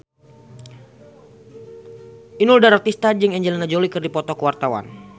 Inul Daratista jeung Angelina Jolie keur dipoto ku wartawan